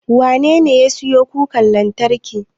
Wanene ya siyo kukar lantarkin?